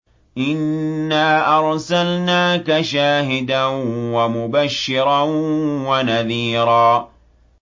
إِنَّا أَرْسَلْنَاكَ شَاهِدًا وَمُبَشِّرًا وَنَذِيرًا